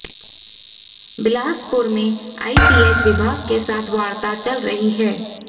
बिलासपुर में आईपीएच विभाग के साथ वार्ता चल रही है